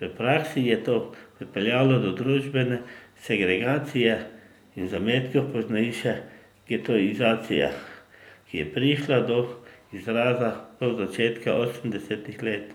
V praksi je to pripeljalo do družbene segregacije in zametkov poznejše getoizacije, ki je prišla do izraza do začetka osemdesetih let,